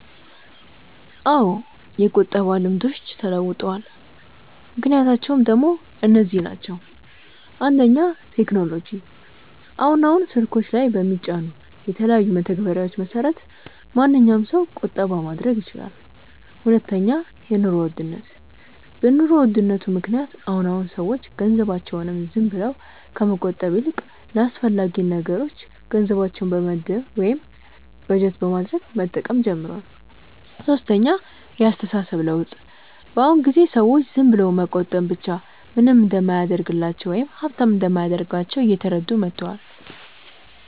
አዎ የቁጠባ ልምዶች ተለውጠዋል። ምክንያቶቹ ደሞ እነዚህ ናቸው፦ 1. ቴክኖሎጂ፦ አሁን አሁን ስልኮች ላይ በሚጫኑ የተለያዩ መተግበሪያዎች መሰረት ማንኛዉም ሰው ቁጠባ ማድረግ ይችላል 2. የኑሮ ውድነት፦ በ ኑሮ ውድነት ምክንያት አሁን አሁን ሰዎች ገንዘባቸውን ዝም ብለው ከመቆጠብ ይልቅ ለአስፈላጊ ነገሮች ገንዘባቸውን በመመደብ ወይም በጀት በማድረግ መጠቀም ጀምረዋል 3. የ አስተሳሰብ ለውጥ፦ በ አሁን ጊዜ ሰዎች ዝም ብሎ መቆጠብ ብቻ ምንም እንደማያደርግላቸው ወይም ሃብታም እንደማያደርጋቸው እየተረዱ መተዋል